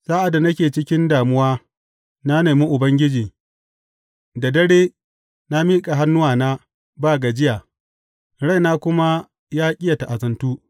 Sa’ad da nake cikin damuwa, na nemi Ubangiji; da dare na miƙa hannuwa ba gajiya raina kuma ya ƙi yă ta’azantu.